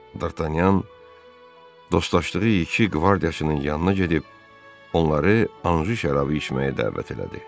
Dartanyan dostlaşdığı iki qvardiyaçının yanına gedib onları Anju şərabı içməyə dəvət elədi.